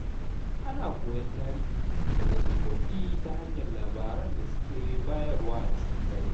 Ana koyon tarihi daga tsofaffi ta hanyar labaran da suke bayarwa a cikin dare.